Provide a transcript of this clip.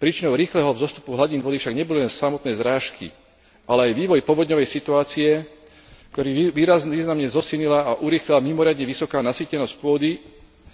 Príčinou rýchleho vzostupu hladín vody však neboli len samotné zrážky, ale aj vývoj povodňovej situácie, ktorý významne zosilnila a urýchlila mimoriadne vysoká nasýtenosť pôdy